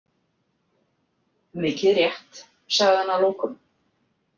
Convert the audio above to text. Mikið rétt, sagði hann að lokum.